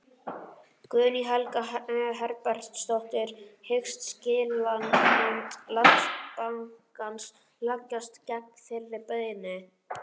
Guðný Helga Herbertsdóttir: Hyggst skilanefnd Landsbankans leggjast gegn þeirri beiðni?